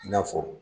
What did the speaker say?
I n'a fɔ